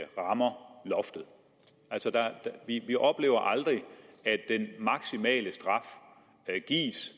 rammer loftet altså vi oplever aldrig at den maksimale straf gives